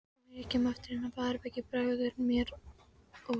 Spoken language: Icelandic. Þegar ég kem aftur inn á baðherbergið bregður mér óþægi